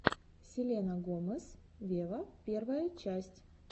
селена гомес вево первая часть